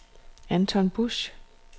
Anton Busch